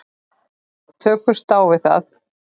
Tökumst á við það.